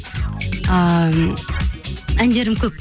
ыыы әндерім көп